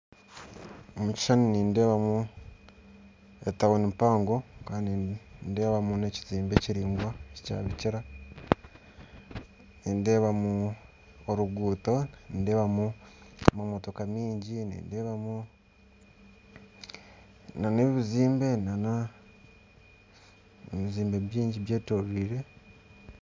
Mu kishushani nindebamu etawuni empango kandi nindebamu nekizimbe kiringwa ekyabikira nindebamu oruguuto nindebamu namamotoka mingi nindebamu na nebizimbe n'ebizimbe bingi byetoriirwe